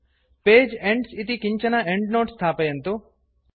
page ends इति किञ्चन endnote स्थापयन्तु